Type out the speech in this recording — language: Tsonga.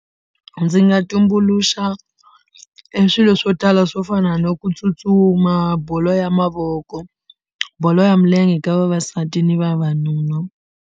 Ndzi nga tumbuluxa e swilo swo tala swo fana no ku tsutsuma bolo ya mavoko bolo ya milenge ka vavasati ni vavanuna.